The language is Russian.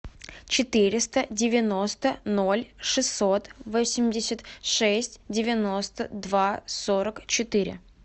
четыреста девяносто ноль шестьсот восемьдесят шесть девяносто два сорок четыре